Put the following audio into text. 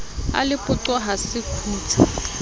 sa lepoqo ha se kgutse